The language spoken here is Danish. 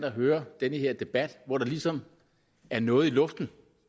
at høre den her debat hvor der ligesom er noget i luften